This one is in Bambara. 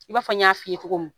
I b'a fɔ n y'a fɔ i ye cogo min